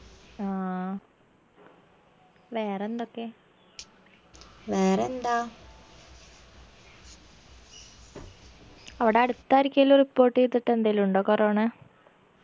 ആ വേറെന്തൊക്കെ വേറെന്താ അവിടടുത്ത് ആരിക്കേലു report ചെയ്തുട്ടെന്തേലു ഉണ്ടോ corona